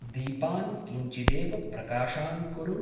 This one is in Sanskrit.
दीपान् किंचिदेव प्रकाशान् कुरु।